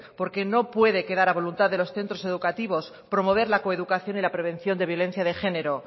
porque no puede quedar a voluntad de los centros educativos promover la coeducación y la prevención de violencia de género